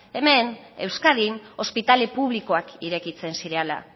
hemen euskadin ospitale publikoak irekitzen zirela